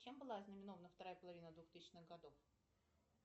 чем была ознаменована вторая половина двухтысячных годов